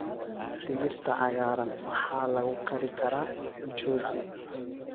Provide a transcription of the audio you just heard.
Digirta cagaaran waxaa lagu kari karaa mchuzi.